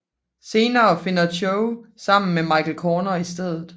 Senere finder Cho sammen med Michael Corner i stedet